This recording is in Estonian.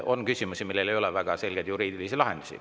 On küsimusi, millel ei ole väga selgeid juriidilisi lahendusi.